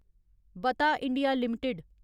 बता India limited